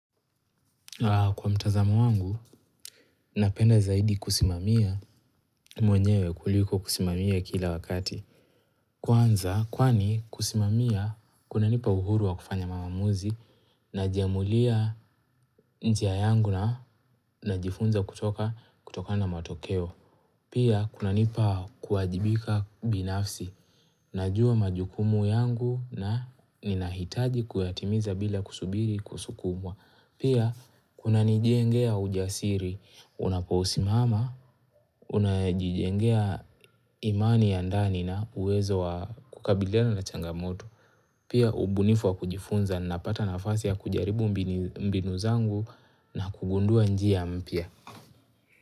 Kwa mtazamo wangu, napenda zaidi kusimamia mwenyewe kuliko kusimamia kila wakati. Kwanza, kwani kusimamia, kunanipa uhuru wa kufanya mamamuzi najiamulia njia yangu na najifunza kutoka kutokana na matokeo. Pia, kunanipa kuajibika binafsi, najua majukumu yangu na ninahitaji kuyatimiza bila kusubiri kusukumwa. Pia kunanijengea ujasiri, unapousimama, unajijengea imani ya ndani na uwezo wa kukabiliana na changamoto. Pia ubunifu wa kujifunza napata nafasi ya kujaribu mbini mbinu zangu na kugundua njia mpya.